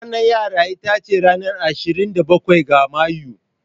Ranar yara ita ce ranar asirin da ɓakwai ga Mayu.